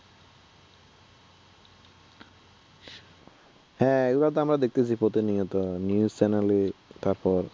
হ্যাঁ এগুলা তো আমরা দেখতেছি প্রতিনিয়ত news channel এ তারপর